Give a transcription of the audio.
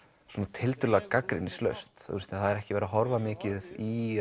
tiltölulega gagnrýnislaust það er ekki verið að horfa mikið í